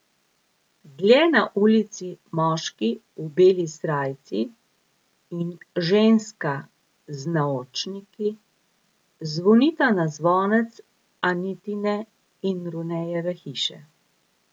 Dlje na ulici moški v beli srajci in ženska z naočniki zvonita na zvonec Anitine in Runejeve hiše.